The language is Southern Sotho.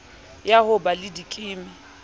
ya ho ba le dikimi